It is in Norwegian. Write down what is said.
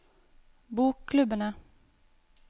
bokklubbene